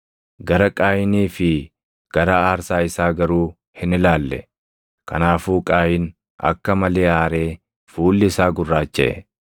Gara Qaayinii fi gara aarsaa isaa garuu hin ilaalle. Kanaafuu Qaayin akka malee aaree fuulli isaa gurraachaʼe.